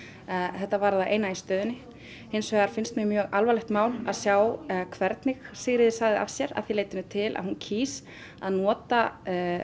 þetta var það eina rétta í stöðunni hins vegar finnst mér mjög alvarlegt mál að sjá hvernig Sigríður sagði af sér að því leytinu til að hún kýs að nota